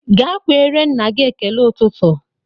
Ga kweere nna gị ekele ụtụtụ!